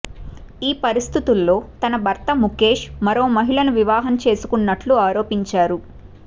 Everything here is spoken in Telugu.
ఈ పరిస్థితుల్లో తన భర్త ముఖేష్ మరో మహిళను వివాహం చేసుకున్నట్లు ఆరోపించారు